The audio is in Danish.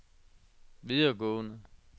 videregående